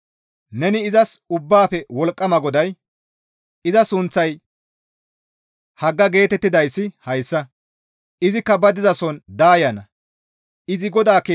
Neni izas, «Ubbaafe Wolqqama GODAY, ‹Iza sunththay Hagga› geetettidayssi hayssa; izikka ba dizason daayana; izi GODAA keeth zaaridi keexxana.